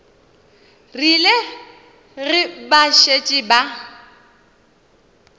rile ge ba šetše ba